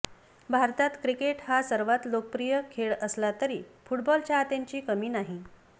भारतात क्रिकेट हा सर्वात लोकप्रिय खेळ असला तरी फुटबॉल चाहत्यांची कमी नाही